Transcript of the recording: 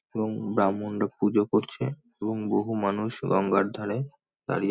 এবং ব্রাহ্মণরা পুজো করছে এবং বহু মানুষ গঙ্গার ধারে দাঁড়িয়ে--